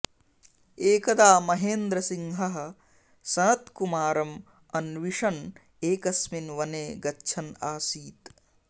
एकदा महेन्द्रसिंहः सनत्कुमारम् अन्विषन् एकस्मिन् वने गच्छन् आसीत्